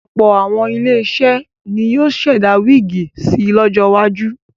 Ọ̀pọ̀ àwọn ilé-iṣẹ́ ni yóò ṣẹ̀dá wíígì si lọjọ iwájú.